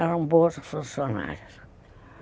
Eram boas funcionárias.